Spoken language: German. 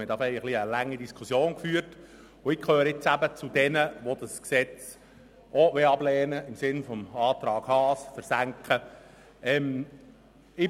Wir führten diesbezüglich eine ziemlich lange Diskussion, und ich gehöre zu jenen, die das Gesetz ablehnen und im Sinne des Antrags Haas versenken wollen.